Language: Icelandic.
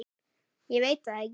Ég veit það ekki